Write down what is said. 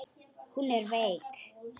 Hún er veik.